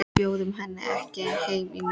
Við bjóðum henni ekki heim í mat.